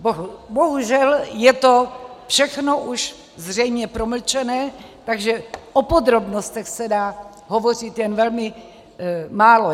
Bohužel je to všechno už zřejmě promlčené, takže o podrobnostech se dá hovořit jen velmi málo.